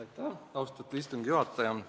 Aitäh, austatud istungi juhataja!